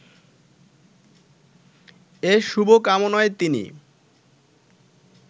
এ শুভ কামনায় তিনি